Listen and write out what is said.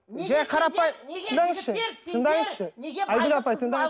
жай тыңдаңызшы тыңдаңызшы айгүл апай тыңдаңызшы